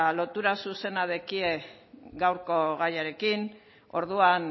lotura zuzena daukate gaurko gaiarekin orduan